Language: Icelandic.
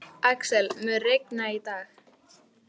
Axel, mun rigna í dag?